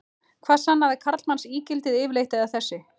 Hvað sannaði karlmannsígildið yfirleitt, eða þessi